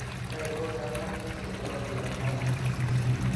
kaiko peebaki irbulabul le HANAC